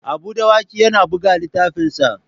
Habu Dawaki yana buga littafinsa.